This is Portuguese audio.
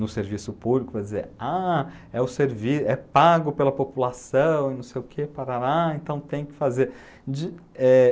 No serviço público, vai dizer, ah, é o serviço, é pago pela população, não sei o que, parará, então tem que fazer. De, eh...